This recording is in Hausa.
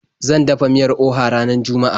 Zan dafa miyar Oha ranar juma'a.